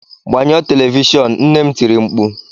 Gbanyụọ telivishọn! Nne m tiri mkpu.